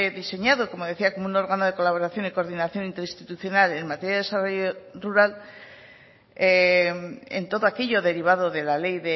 diseñado como decía como un órgano de colaboración y coordinación interinstitucional en materia de desarrollo rural en todo aquello derivado de la ley